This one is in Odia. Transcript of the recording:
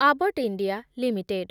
Abbott India limited